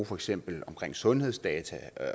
for eksempel omkring sundhedsdata